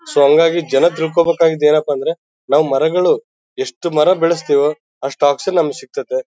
So ಹಂಗಾಗಿ ಜನ ತಿಳ್ಕೊಬೇಕಾದ್ದು ಏನಪ್ಪಾ ಅಂದ್ರೆ ನಾವು ಮರಗಳು ಎಷ್ಟು ಮರಗಳು ಬೆಳೆಸ್ತೀವೋ ಅಷ್ಟು ಆಕ್ಸಿಜನ್ ನಮಗೆ ಸಿಕ್ತದೆ.